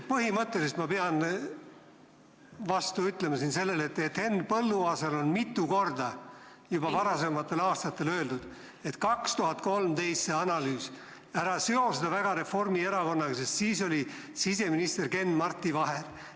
Põhimõtteliselt ma pean vastu ütlema sellele, et Henn Põlluaasale on mitu korda juba varasematel aastatel öeldud, et ära seo seda 2013. aasta analüüsi väga Reformierakonnaga, sest siis oli siseminister Ken-Marti Vaher.